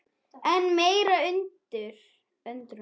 Enn meiri undrun